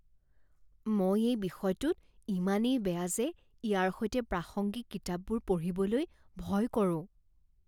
মই এই বিষয়টোত ইমানেই বেয়া যে ইয়াৰ সৈতে প্ৰাসংগিক কিতাপবোৰ পঢ়িবলৈ ভয় কৰোঁ।